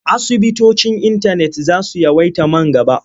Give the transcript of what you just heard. Asibitocin intanet za su yawaita man gaba.